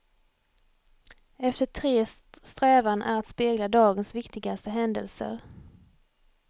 Efter tres strävan är att spegla dagens viktigaste händelser.